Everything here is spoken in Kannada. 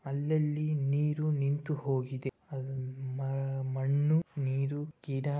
ಅಲ್ಲಲ್ಲಿ ನೀರು ನಿಂತು ಹೋಗಿದೆ. ಮ-ಮಣ್ಣು ನೀರು ಗಿಡ --